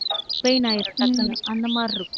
pain ஆயிரும் டக்குன்னு அந்த மாதிரி இருக்கும்